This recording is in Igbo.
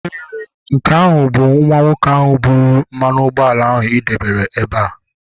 ee, nke ahụ bụ nwa nwoke ahụ buru mmanụ ụgbọala ị debere ebe a